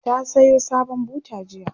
ta Sayo sabon buta jiya